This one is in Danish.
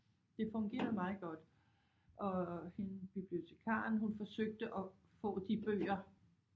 Det fungerede meget godt og hende bibliotekaren hun forsøgte at få de bøger